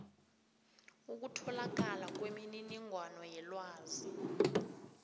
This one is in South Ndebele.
ukutholakala kwemininingwana yelwazi